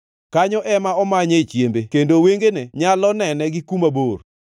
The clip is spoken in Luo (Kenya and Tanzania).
Kanyo ema omanye chiembe kendo wengene nyalo nene gi kuma bor.